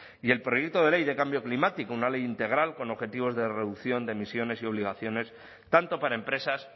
y el proyecto de ley de cambio climático una ley integral con objetivos de reducción de emisiones y obligaciones tanto para empresas